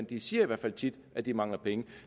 de siger i hvert fald tit at de mangler penge